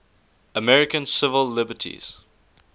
american civil liberties